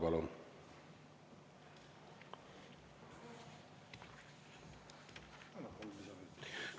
Palun!